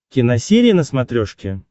киносерия на смотрешке